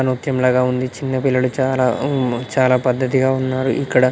నృత్యం లాగా ఉంది చిన్న పిల్లలు చాలా హ్మం చాలా పద్దతిగా ఉన్నారు ఇక్కడ.